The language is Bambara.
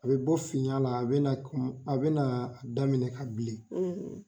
A bɛ bɔ finya la, a bɛ na kɔmi bɛna daminɛ ka bilen